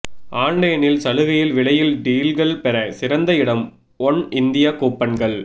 ஆன்லைனில் சலுகையில் விலையில் டீல்கள் பெற சிறந்த இடம் ஒன்இந்தியா கூப்பன்கள்